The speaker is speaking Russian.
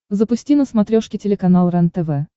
запусти на смотрешке телеканал рентв